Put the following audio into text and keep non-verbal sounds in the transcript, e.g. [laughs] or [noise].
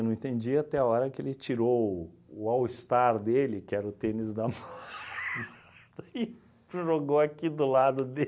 Não entendia até a hora que ele tirou o all-star dele, que era o tênis da [laughs] mãe, e jogou aqui do lado